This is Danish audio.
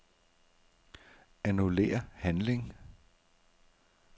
Annullér handling.